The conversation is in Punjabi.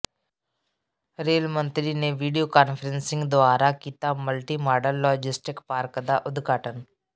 ਰੇਲ ਮੰਤਰੀ ਨੇ ਵੀਡੀਓ ਕਾਨਫ਼ਰੰਸਿੰਗ ਦੁਆਰਾ ਕੀਤਾ ਮਲਟੀ ਮਾਡਲ ਲੌਜਿਸਟਿਕ ਪਾਰਕ ਦਾ ਉਦਘਾਟਨ